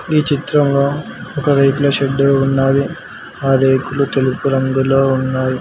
ఈ చిత్రంలో ఒక రేకుల షెడ్డు ఉన్నాది ఆ రేకులు తెలుపు రంగులో ఉన్నాయ్.